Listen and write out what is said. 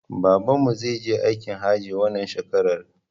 Babanmu zai je aikin hajji wannan shekarar